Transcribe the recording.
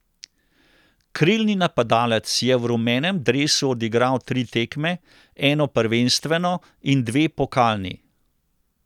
Krilni napadalec je v rumenem dresu odigral tri tekme, eno prvenstveno in dve pokalni.